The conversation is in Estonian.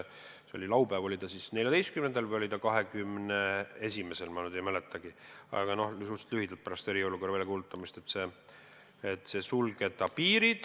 See oli laupäev, oli ta siis 14. või 21., ma ei mäletagi, aga suhteliselt kiiresti pärast eriolukorra väljakuulutamist otsustasime piiri sulgeda.